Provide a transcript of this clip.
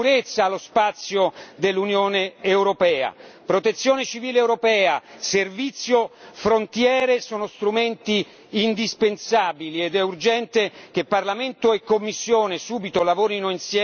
Protezione civile europea, servizio frontiere sono strumenti indispensabili ed è urgente che Parlamento e Commissione subito lavorino insieme e subito formulino una proposta.